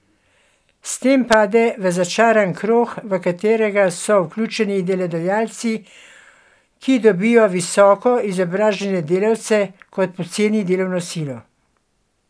S tem pade v začaran krog, v katerega so vključeni delodajalci, ki dobijo visoko izobražene delavce kot poceni delovno silo.